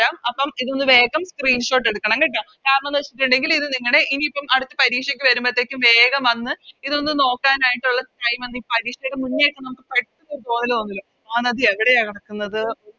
രാം അപ്പോം ഇതൊന്ന് വേഗം Screenshot എടുക്കണം കേട്ടോ കാരണംന്ന് വെച്ചിട്ടുണ്ടെങ്കില് ഇത് നിങ്ങടെ ഇനീപ്പം അടുത്ത പരീക്ഷക്ക് വരുമ്പഴത്തെക്കും വേഗം വന്ന് ഇതൊന്ന് നോക്കാനായിട്ടൊള്ള Time ഒന്ന് ഈ പരീക്ഷക്ക് മുന്നേ ഒക്കെ നമുക്ക് പഠിച്ചിട്ട് പോവല് തോന്നുല്ല മഹാനദി എവിടെയാ കെടക്കുന്നത്